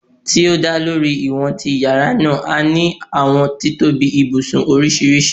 Ti o da lori iwọn ti yara naa, a ni awọn titobi ibusun oriṣiriṣi